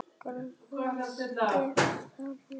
Greitt er þar úr málum.